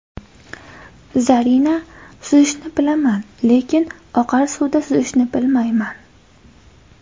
Zarina: Suzishni bilaman, lekin oqar suvda suzishni bilmayman.